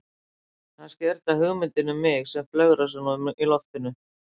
Kannski er þetta hugmyndin um mig sem flögrar svona um í loftinu.